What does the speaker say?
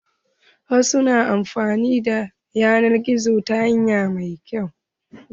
Wasu na amfani da yanar gizo ta hanya mai kyau.